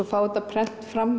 fá þetta prent fram